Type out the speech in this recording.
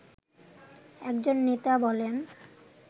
একজন নেতা বলেন